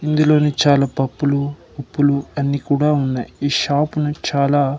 ఇందులోనే చాలా పప్పులు ఉప్పులు అన్నీ కూడా ఉన్నాయి ఈ షాప్ ని చాలా.